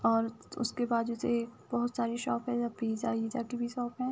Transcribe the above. और उसके बाजु से बोहोत सारी शॉप है। द पिज़्ज़ा विज्ज़ा की भी शॉप है।